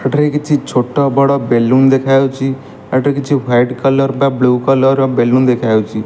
ଏଠାରେ କିଛି ଛୋଟ ବଡ଼ ବେଲୁନ୍ ଦେଖାଯାଉଚି ଆ ଏଠାରେ କିଛି ହ୍ବିଇଟ୍ କଲର୍ ବା ବ୍ଲୁ କଲର୍ ର ବେଲୁନ୍ ଦେଖାଯାଉଚି।